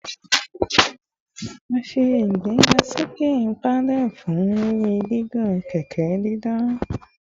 A ṣe igbegasoke pedals fun iriri gigun kẹkẹ didan